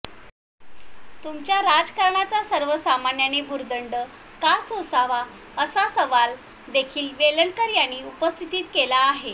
तुमच्या राजकारणाचा सर्वसामान्यांनी भुर्दंड का सोसावा असा सवाल देखील वेलणकर यांनी उपस्थित केला आहे